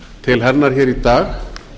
til hennar hér í dag